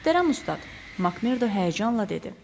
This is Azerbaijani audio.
Möhtərəm ustad, Makmerdo həyəcanla dedi.